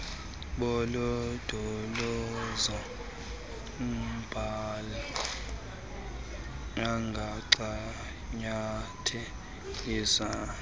bolondolozo mbali angancanyatheliswa